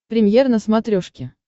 премьер на смотрешке